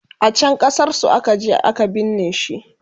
a can ƙasar su akaje a ka binne shi